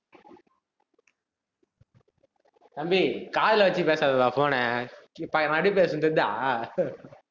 தம்பி, காதுல வச்சு பேசாதடா phone ன இப்ப மறுபடியும் பேசணும் தெரியுதா